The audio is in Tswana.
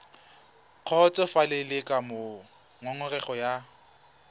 kgotsofalele ka moo ngongorego ya